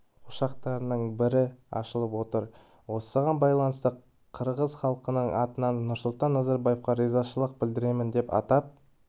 ошақтарының бірі ашылып отыр осыған байланысты қырғыз халқының атынан нұрсұлтан назарбаевқа ризашылық білдіремін деп атап